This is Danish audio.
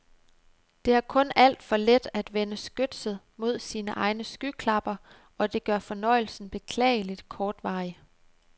Det er kun alt for let at vende skytset mod sine egne skyklapper og det gør fornøjelsen beklageligt kortvarig.